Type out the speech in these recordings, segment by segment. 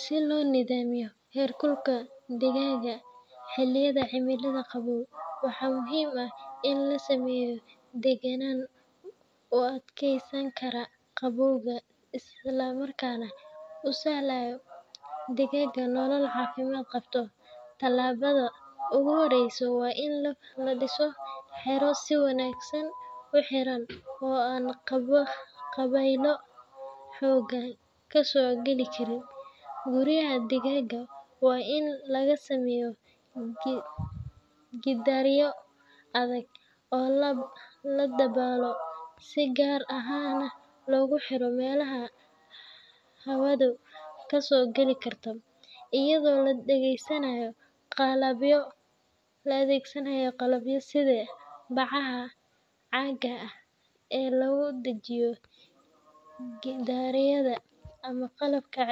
Si loo nidaamiyo heerkulka digaagga xilliyada cimilada qabow, waxaa muhiim ah in la sameeyo deegaan u adkeysan kara qabowga isla markaana u sahlaya digaagga nolol caafimaad qabta. Tallaabada ugu horreysa waa in la dhiso xero si wanaagsan u xiran oo aan dabaylo xooggan ka soo gali karin. Guryaha digaagga waa in lagu sameeyaa gidaaryo adag oo la daboolo, si gaar ahna loogu xiro meelaha hawadu ka soo gali karto, iyadoo la adeegsanayo qalabyo sida bacaha caagga ah ee lagu dhejiyo gidaarada ama qalabka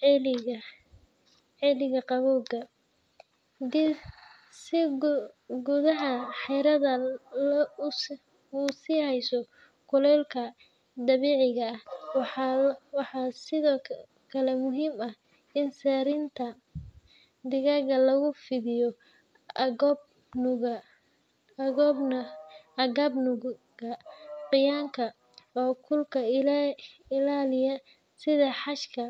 celiya qabowga , si gudaha xeradu u sii hayso kuleylka dabiiciga ah. Waxaa sidoo kale muhiim ah in sariirta digaagga lagu fidiyo agab nuuga qoyaanka oo kulka ilaaliya sida xashka.